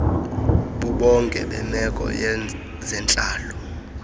bubonke bemeko yezentlalo